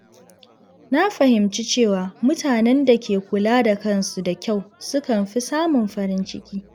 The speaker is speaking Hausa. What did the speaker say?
Na fahimci cewa mutanen da ke kula da kansu da kyau sukan fi samun farin ciki.